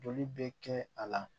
Joli bɛ kɛ a la